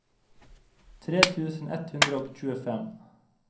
tre tusen ett hundre og tjuefem